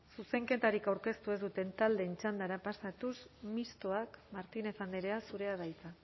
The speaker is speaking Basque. zuzenketarik aurkeztu ez duten taldeen txandara pasatuz mistoa martínez andrea zurea da hitza